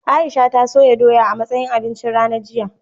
Aisha ta soya doya a matsayin abincin rana jiya.